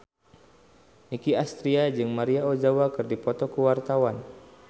Nicky Astria jeung Maria Ozawa keur dipoto ku wartawan